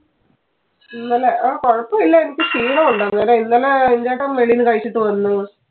ഇന്നലെ ആ കുഴപ്പം ഇല്ല എനിക്ക് ഷീണം ഉണ്ട്. അന്നേരം ഇന്നലെ ചേട്ടൻ വെളിയിൽ നിന്നു കഴിച്ചിട്ട് വന്നു.